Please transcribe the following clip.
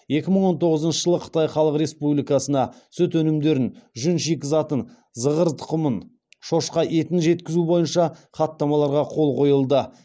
екі мың он тоғызыншы жылы қытай халық республикасына сүт өнімдерін жүн шикізатын зығыр тұқымын шошқа етін жеткізу бойынша хаттамаларға қол қойылды